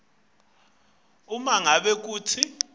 uma ngabe kute